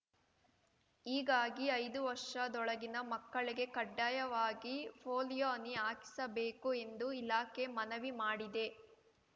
ಹೀಗಾಗಿ ಐದು ವರ್ಷದೊಳಗಿನ ಮಕ್ಕಳಿಗೆ ಕಡ್ಡಾಯವಾಗಿ ಪೋಲಿಯೊ ಹನಿ ಹಾಕಿಸಬೇಕು ಎಂದು ಇಲಾಖೆ ಮನವಿ ಮಾಡಿದೆ